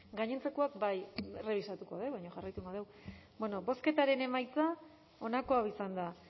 gaientzekoak bai errebisatuko dugu baina jarraituko egingo dugu bueno bozketaren emaitza onako izan da